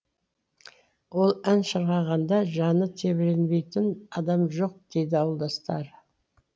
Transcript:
ол ән шырқағанда жаны тебіренбейтін адам жоқ дейді ауылдастары